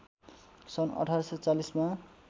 सन् १८४० मा